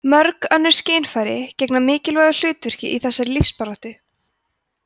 mörg önnur skynfæri gegna mikilvægu hlutverki í þessari lífsbaráttu